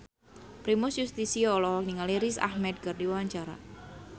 Primus Yustisio olohok ningali Riz Ahmed keur diwawancara